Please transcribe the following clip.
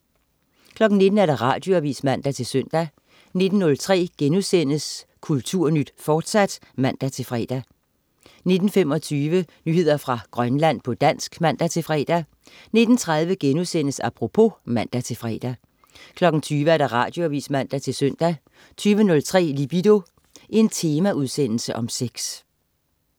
19.00 Radioavis (man-søn) 19.03 Kulturnyt, fortsat* (man-fre) 19.25 Nyheder fra Grønland, på dansk (man-fre) 19.30 Apropos* (man-fre) 20.00 Radioavis (man-søn) 20.03 Libido. Temaudsendelse om sex